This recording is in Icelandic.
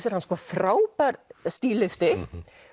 er hann frábær stílisti